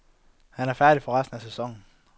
Han er færdig for resten af sæsonen.